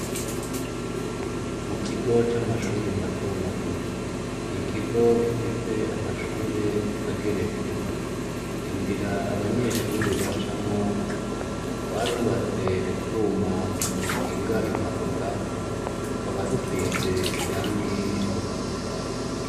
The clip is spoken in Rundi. Mu kigo c'amashure matomato, ni ikigo gifise amashure ageretse. Inzira abanyeshure bacamwo, barubatse utwuma dukinga impanuka, tukaba dusize irangi ritukura.